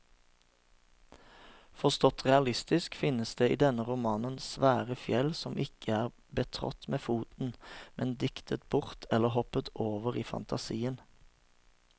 Forstått realistisk finnes det i denne romanen svære fjell som ikke er betrådt med foten, men diktet bort eller hoppet over i fantasien.